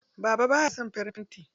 Baba baya son farin fenti.